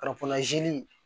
Ka kɔnlan ze